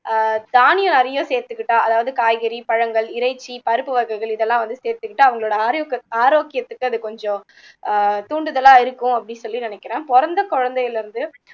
ஆஹ் தானியம் நிறைய சேத்துக்கிட்டா அதாவது காய்கறி, பழங்கள், இறைச்சி, பருப்பு வகைகள் இதெல்லாம் வந்து சேத்துகிட்டு அவங்களோட ஆரோக்க ஆரோக்கியத்துக்கு அது கொஞ்சம் தூண்டுதலா இருக்கும் அப்படி சொல்லி நினைக்குறேன் பொறந்த குழந்தையில இருந்து